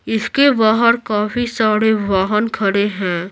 इसके बाहर काफी सारे वाहन खड़े है।